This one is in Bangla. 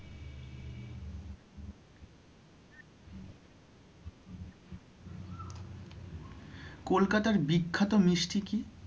কলকাতার বিখ্যাত মিষ্টি কি?